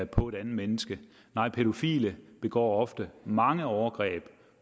på et andet menneske nej pædofile begår ofte mange overgreb